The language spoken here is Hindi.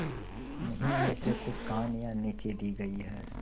उन्हीं में से कुछ कहानियां नीचे दी गई है